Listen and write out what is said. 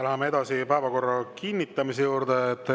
Läheme edasi päevakorra kinnitamise juurde.